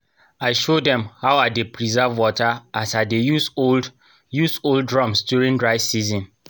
i show dem how i dey preserve wata as i dey use old use old drums during dry season